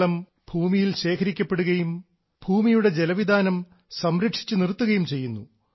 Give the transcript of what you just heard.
മഴവെള്ളം ഭൂമിയിൽ ശേഖരിക്കപ്പെടുകയും ഭൂമിയുടെ ജലവിതാനം സംരക്ഷിച്ചു നിർത്തുകയും ചെയ്യുന്നു